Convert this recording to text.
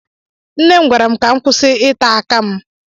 Nne m gwara m ka m kwụsị ịta aka m